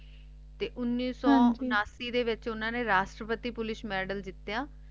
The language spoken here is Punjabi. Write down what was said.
ਤੇ ਉਨੀਸ ਸੋ ਉਣਾਸੀ ਦੇ ਵਿਚ ਉਨ੍ਹਾਂ ਨ ਹਨ ਜੀ ਰਾਜ ਸ਼੍ਰੀ ਪਾਤਰ medal ਜਿੱਤਿਆ